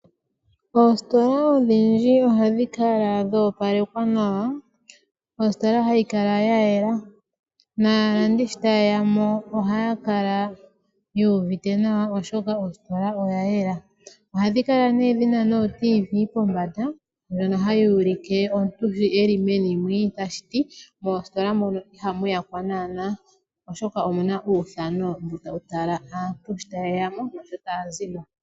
Oositola odhindji oha dhikala dha opalekwa nawa, ositola ha yikala ya yela naalandi shi ta yeyamo oha yakala yu uvite nawa oshoka ositola oya yela oha dhi kala dhina nee dhina nooradio dhomuzizimba pombanda ndjono ha yi ulike omuntu sho eli meni mwii, tashiti moositola mono iha muyakwa naana oshoka omu na uuthano mbu ta wutala aantu shi ta yeyemo naashi ta yazimo.